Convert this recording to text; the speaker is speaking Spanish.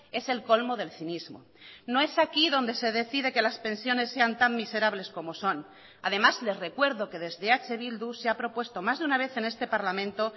es el colmo del cinismo no es aquí donde se decide que las pensiones sean tan miserables como son además les recuerdo que desde eh bildu se ha propuesto más de una vez en este parlamento